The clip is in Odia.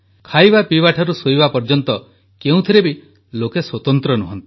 ଖାଇବା ପିଇବାଠାରୁ ଶୋଇବା ପର୍ଯ୍ୟନ୍ତ କେଉଁଥିରେ ବି ଲୋକେ ସ୍ୱତନ୍ତ୍ର ନୁହନ୍ତି